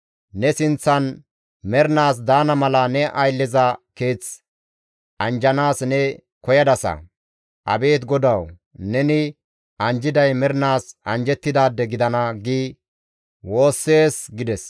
Ne sinththan mernaas daana mala ne aylleza keeth anjjanaas ne koyadasa; Abeet GODAWU! Neni anjjiday mernaas anjjettidaade gidana› gi woossees» gides.